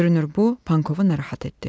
Görünür, bu Pankovu narahat etdi.